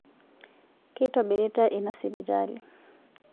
Keitobiritai ina sipitali